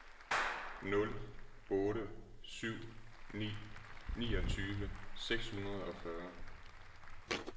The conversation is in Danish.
nul otte syv ni niogtyve seks hundrede og fyrre